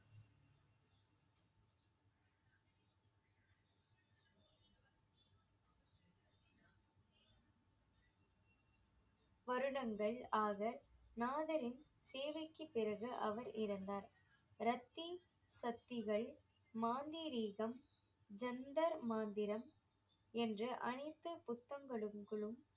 வருடங்கள் ஆக நாதரின் சேவைக்குப் பிறகு அவர் இறந்தார் ரத்தி சக்திகள் மாந்தரீகம் ஜந்தர்மாந்திரம் என்று அனைத்து புத்தங்களும்